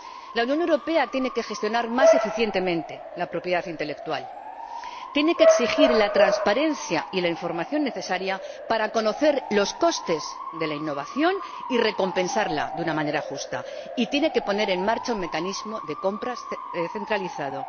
La Unión Europea tiene que gestionar más eficientemente la propiedad intelectual, tiene que exigir la transparencia y la información necesarias para conocer los costes de la innovación y recompensarla de una manera justa, y tiene que poner en marcha un mecanismo de compras centralizado.